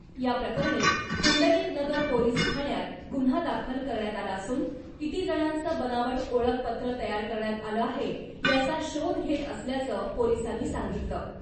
या प्रकरणी पुंडलीकनगर पोलिस ठाण्यात गुन्हा दाखल करण्यात आला असून , किती जणांचं बनावट ओळखपत्र तयार करण्यात आलं आहे , याचा शोध घेत असल्याचं पोलिसांनी सांगितलं .